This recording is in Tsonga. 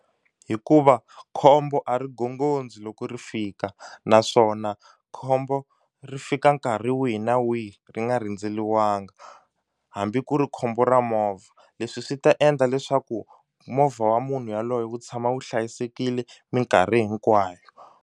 Hikuva khombo a ri gongondzi loko ri fika naswona khombo ri fika nkarhi wihi na wihi ri nga rindzeliwanga hambi ku ri khombo ra movha leswi swi ta endla leswaku movha wa munhu yaloye wu tshama wu hlayisekile minkarhi hinkwayo.